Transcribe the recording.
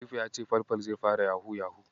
Halifa ya ce Falfal zai fara Yahu-yahu.